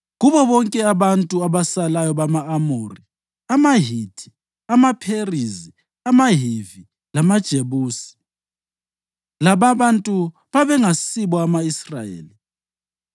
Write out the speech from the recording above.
Kubo bonke abantu abasalayo bama-Amori, amaHithi, amaPherizi, amaHivi lamaJebusi (lababantu babengasibo ama-Israyeli)